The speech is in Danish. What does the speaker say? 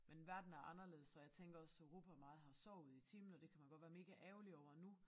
Men verden er anderledes og jeg tænker også Europa meget har sovet i timen og det kan man godt være mega ærgerlig over nu